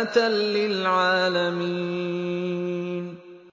آيَةً لِّلْعَالَمِينَ